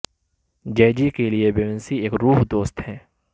جے G کے لئے Beyonce ایک روح دوست ہے